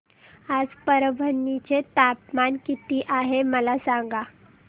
आज परभणी चे तापमान किती आहे मला सांगा